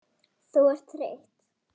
Þú ert þreytt.